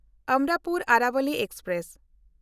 ᱚᱢᱨᱟᱯᱩᱨ ᱟᱨᱟᱵᱚᱞᱤ ᱮᱠᱥᱯᱨᱮᱥ